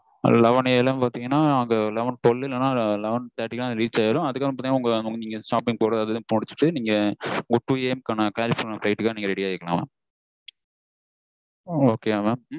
eleven AM பாத்தீங்கனா twelve இல்லனா eleven thirty க்குல reach ஆகிடும் அதுக்கு அப்புறம் பாத்தீங்கனா நீங்க உங்க shopping போறது அது இது எல்லான் முடிச்சுட்டு two AM கலிஃபொர்னியாக்கு flight ready ஆகிக்கனும் mam okay வா mam